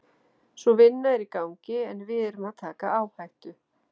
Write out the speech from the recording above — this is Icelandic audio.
Sú vinna er í gangi en við erum að taka áhættu.